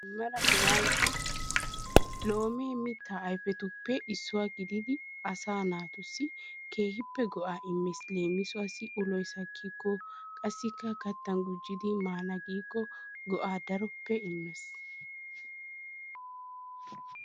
Mela hegan la! loome mitta ayfetuppe issuwa gididi asa naatussi keehippe go''a immees. leemisuwassi uloy sakkiko, qassikka kattan gujjidi maana giiko go''a daroppe immees.